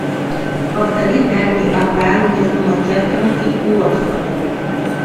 повтори дерби апл между манчестером и уотфордом